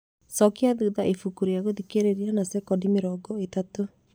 cookia thutha ibuku rĩa gũthikĩrĩria na cekondi mĩrongo ĩtatũ